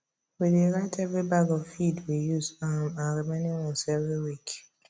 we dey write every bag of feed we use um and remaining ones every week